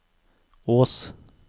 Ås